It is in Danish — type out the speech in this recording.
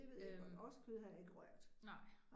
Øh nej